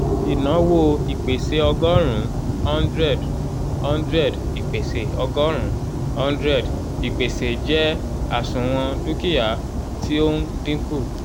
ìnáwó ìpèsè ọgọ́rùn-ún (100) (100) ìpèsè ọgọ́rùn-ún (100) ìpèsè jẹ́ àsùnwòn dúkìá tí ó ń dínkù